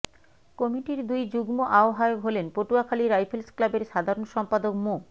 কমিটির দুই যুগ্ম আহ্বায়ক হলেন পটুয়াখালী রাইফেলস ক্লাবের সাধারণ সম্পাদক মো